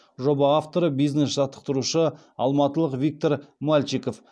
жоба авторы бизнес жаттықтырушы алматылық виктор мальчиков